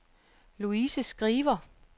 Louise Skriver